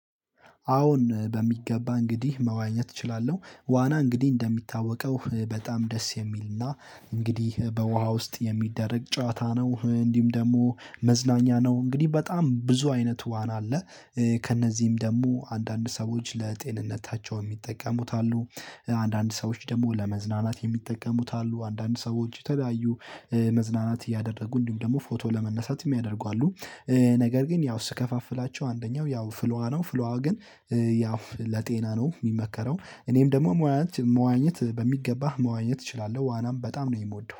አሁን በሚገባ እንግድህ መዋኘት እችላለሁ ዋና እንግድህ እንደሚታወቀው በጣም ደስ የሚል እና እንግድህ በውሃ ውስጥ የሚደረግ ጨዋታ ነው እንድሁም ደግሞ መዝናኛ ነው። እንግድህ በጣም ብዙ አይነት ዋና አለ። ከእነዚህም ደግሞ አንዳንድ ሰዎች ለጤንነታቸው የሚጠቀሙት አሉ። አንዳንድ ሰዎች ደግሞ ለመዝናናት የሚጠቀሙት አሉ። አንዳንድ ሰዎች የተለያዩ መዝናናት እያደረጉ እንድሁም ደግሞ ፎቶ ለመነሳት የሚያደርጉ አሉ። ነገር ግን ያው ስከፋፍላቸው አንደኛው ያው ፍል ውሃ ነው ፍል ውሃ ግን ያው ለጤና ነው የሚመከረው። እኔም ደግሞ መዋኘት በሚገባ መዋኘት እችላለሁ ዋናም በጣም ነው የምወደው